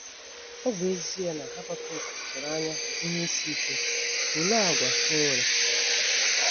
Ọ bụ ezie na Habakuk tụrụ anya ihe isi ike, olee àgwà o nwere?